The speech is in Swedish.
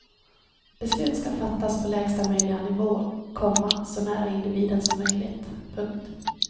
Beslut ska fattas på lägsta möjliga nivå, komma så nära individen som möjligt. punkt